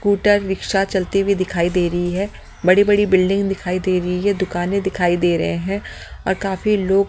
scooter rickshaw चलती हुई दिखाई दे रही है बड़ी-बड़ी बिल्डिंग दिखाई दे रही है दुकानें दिखाई दे रहे हैं और काफी लोग--